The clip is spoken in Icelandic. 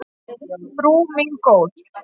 Frú mín góð.